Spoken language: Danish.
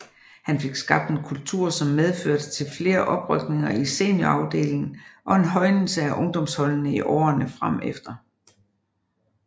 Han fik skabt en kultur som medførte til flere oprykninger i seniorafdelingen og en højnelse af ungdomsholdene i årerne fremefter